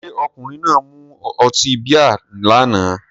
Ṣé ọkùnrin náà mu ọtí bíà náà ni?